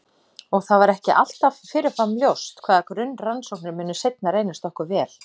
Og það er ekki alltaf fyrirfram ljóst hvaða grunnrannsóknir munu seinna reynast okkur vel.